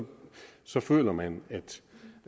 så føler man